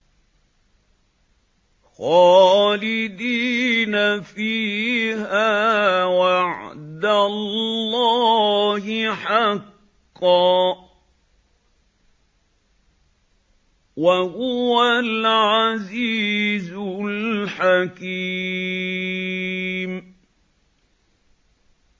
خَالِدِينَ فِيهَا ۖ وَعْدَ اللَّهِ حَقًّا ۚ وَهُوَ الْعَزِيزُ الْحَكِيمُ